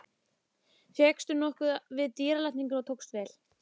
Fékkst nokkuð við dýralækningar og tókst vel.